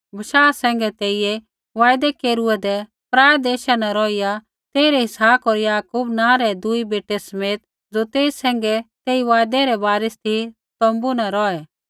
बशाह सैंघै तेइयै वायदै केरूऐदै पराऐ देशा न रौहिया तेइरै इसहाक होर याकूब नाँ रै दुई बेटै समेत ज़ो तेई सैंघै तेई वायदै रै वारिस ती तोम्बू न रौहै